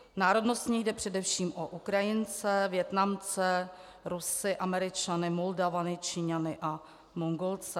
Národnostně jde především o Ukrajince, Vietnamce, Rusy, Američany, Moldavany, Číňany a Mongolce.